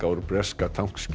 úr breska